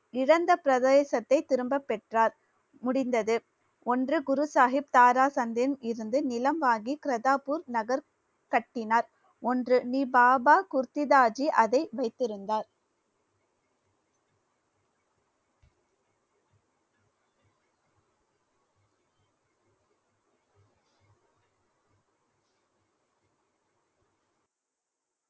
இழந்த பிரதேசத்தை திரும்ப பெற்றார் முடிந்தது ஒன்று குரு சாஹிப் தாரா நிலம் வாங்கி கர்தார்பூர் நகர் கட்டினார் ஒன்று நீ பாபா குர்தித்தாஜி அதை வைத்திருந்தார்.